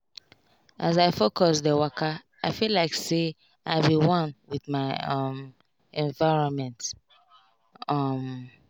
as i focus dey wakai feel like say i be one with my um environment. um